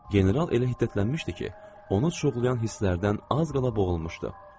General elə hiddətlənmişdi ki, onu çuğulayan hisslərdən az qala boğulmuşdu.